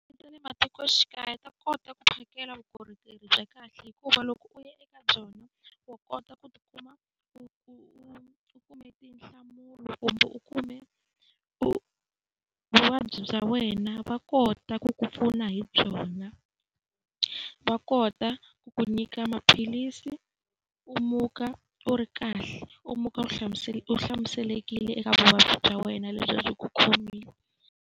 Matikoxikaya va kota ku phakela vukorhokeri bya kahle hikuva loko u ya eka byona, wa kota ku kumbe u kume u vuvabyi bya wena va kota ku ku pfuna hi byona. Va kota ku ku nyika maphilisi u muka u ri kahle, u muka u u hlamuselekile eka vuvabyi bya wena lebyi a byi ku khomile.